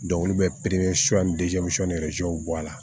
olu bɛ bɔ a la